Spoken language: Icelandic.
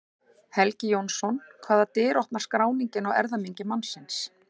Helgi Jónsson Hvaða dyr opnar skráningin á erfðamengi mannsins?